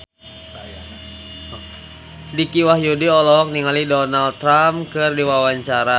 Dicky Wahyudi olohok ningali Donald Trump keur diwawancara